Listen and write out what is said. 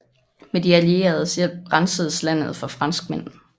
Med de allieredes hjælp rensedes landet for franskmænd